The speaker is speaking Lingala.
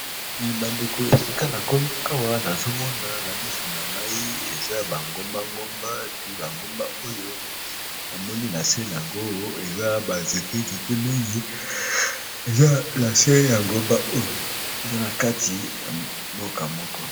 bandeko esika na komi awa nazomona na misu na ngai eza bangombangomba pi bangomba oyo ya moli na se yango eza banzete nzete mingi eza asie ya ngomba oyo eza na kati ya mboka moko